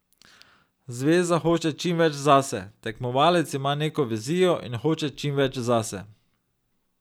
Zveza hoče čim več zase, tekmovalec ima neko vizijo in hoče čim več zase ...